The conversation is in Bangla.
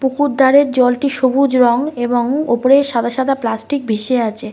পুকুর ধারের জলটি সবুজ রং এবং ওপরে সাদা সাদা প্লাষ্টিক ভেসে আছে।